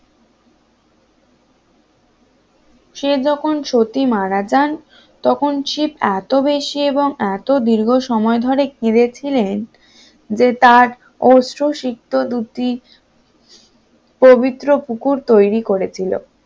শিব যখন সতী মারা জান তখন শিব এত বেশি এবং এত দীর্ঘ সময় ধরে সময় ধরে কেঁদেছিলেন যে তার অশ্রুসিক্ত দ্রুতি পবিত্র পুকুর তৈরি করেছিল